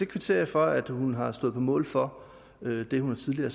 kvitterer for at hun har stået på mål for det hun tidligere